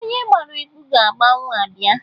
Onye gbara egwu ga-agbanwu abịa